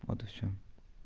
вот и всё